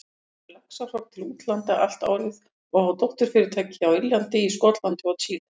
selur laxahrogn til útlanda allt árið og á dótturfyrirtæki á Írlandi, í Skotlandi og Chile.